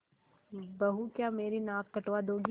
बहू क्या मेरी नाक कटवा दोगी